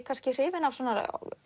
kannski hrifin af